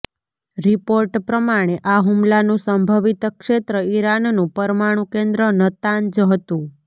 report પ્રમાણે આ હુમલાનું સંભિવત ક્ષેત્ર ઈરાનનું પરમાણુ કેન્દ્ર નતાંજ હતુ